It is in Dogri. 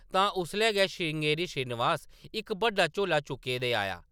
तां उसलै गै, श्रृंगेरी श्रीनिवास इक बड्डा झोला चुक्के दे आया ।